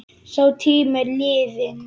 Sá tími er liðinn.